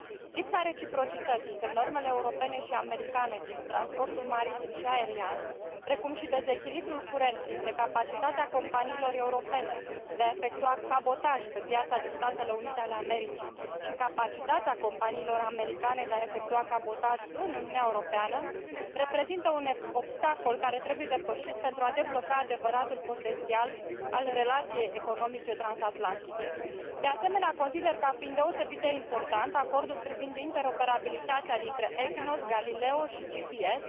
Lipsa reciprocității între normele europene și americane din transportul maritim și aerian, precum și dezechilibrul curent dintre capacitatea companiilor europene de a efectua cabotaj pe piața din Statele Unite ale Americii și capacitatea companiilor americane de a efectua cabotaj în Uniunea Europeană reprezintă un obstacol care trebuie depășit, pentru a debloca adevăratul potențial al relației economice transatlantice. De asemenea, consider ca fiind deosebit de important acordul privind interoperabilitatea dintre EGNOS, Galileo și GPS,